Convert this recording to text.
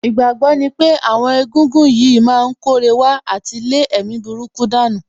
Ìgbàgbọ́ ní pé àwọn egúngún yìí má ń kóre wá àti lé èmi burúkú dànù